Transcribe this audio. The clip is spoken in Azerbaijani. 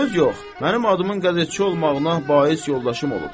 Söz yox, mənim adımın qəzetçi olmağına bais yoldaşım olubdur.